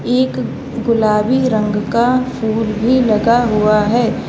एक गुलाबी रंग का फूल भी लगा हुआ है।